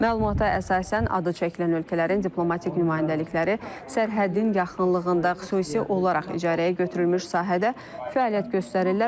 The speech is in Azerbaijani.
Məlumata əsasən, adı çəkilən ölkələrin diplomatik nümayəndəlikləri sərhədin yaxınlığında xüsusi olaraq icarəyə götürülmüş sahədə fəaliyyət göstərirlər,